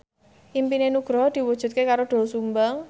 impine Nugroho diwujudke karo Doel Sumbang